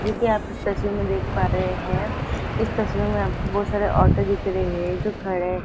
जैसा कि आप इस तस्वीर में देख पा रहे हैं इस तस्वीर में आपको बहुत सारे औरतें दिख रही हैं जो खड़े--